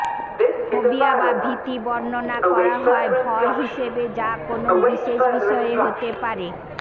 phobia বা ভীতি বর্ণনা করা হয় ভয় হিসেবে যা কোনও বিশেষ বিষয়ে হতে পারে